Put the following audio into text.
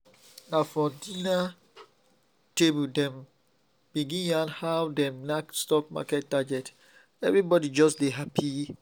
na for dinner table dem begin yarn how dem knack stock market target—everybody just dey happy